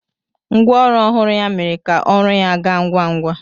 Ngwa ọrụ ọhụrụ ya mere ka ọrụ ya gaa ngwa ngwa.